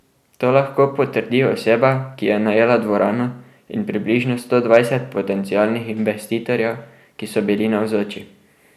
To lahko potrdi oseba, ki je najela dvorano, in približno sto dvajset potencialnih investitorjev, ki so bili navzoči.